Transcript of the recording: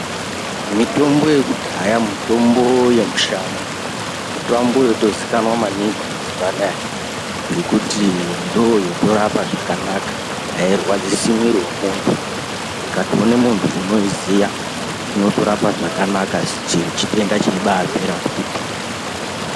Mitombo yekudahaya, mutombo yemushango. Mutombo yotozikanwa maningi mazuva anaya ngekuti ndooyotorapa zvakanaka. Hairwadzisi mwiiri womuntu. Ikatoone muntu unoiziya, inotorapa zvakanaka chero chitenda cheibaapera kuti pee.